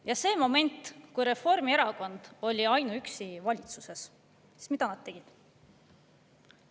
Ja sel momendil, kui Reformierakond oli ainuüksi valitsuses, mida nad tegid?